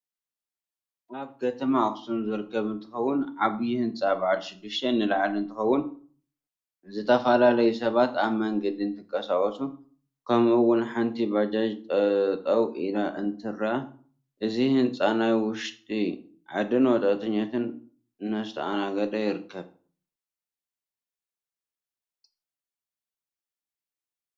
ኣብ ከተማ ኣክሱም ዝርከብ እንትከውን ዓብይ ህንፃ ባዓልሽድሽተ ንላዕሊ እንትከው ዝተፈላለዩ ሰባት ኣብ መንገዲ እንትንቃሳቀሱ ከምኡ እውን ሓንቲ ባጃጅ ጠጠው ኢላ እንትርኢ እዚ ህንፃ ናይ ውሽጢ ዓዲን ወፃኢተኛታትን እዳስተኣናገደ ይርከብ።